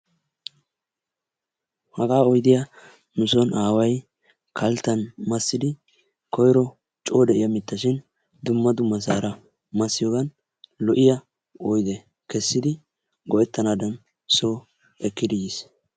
Hagaa oyddiya nu soo aaway kaltan massidi koyro coo de'iya mittashin dumma dummasaara massiyogan kessidi go'etanaagan soo ekkidi yiis.